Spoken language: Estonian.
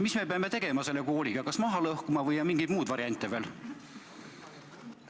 Mis me peame tegema selle kooliga, kas maha lõhkuma, või on mingeid muid variante veel?